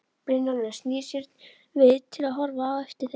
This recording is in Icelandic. Brynjólfur snýr sér við til að horfa á eftir þeim.